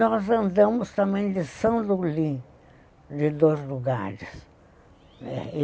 Nós andamos também de, de dois lugares., né.